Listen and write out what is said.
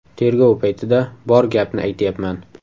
Tergov paytida bor gapni aytyapman.